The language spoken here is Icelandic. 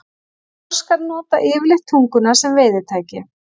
Froskar nota yfirleitt tunguna sem veiðitæki.